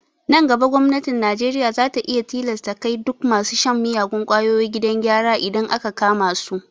Nan gaba gwamnatin najeriya za ta iya tilasta kai duk masu shan miyagun kwayoyi gidan gyara idan aka kama su